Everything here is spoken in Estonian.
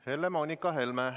Helle-Moonika Helme.